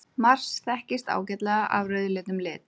Mars þekkist ágætlega af rauðleitum lit.